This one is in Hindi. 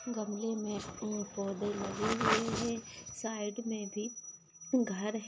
गमले मे फुल पौधे लगे हुए हैं। साइड मे भी घर हैं।